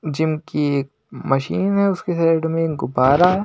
Gym की एक machine है उसके साइड में गुब्बारा है।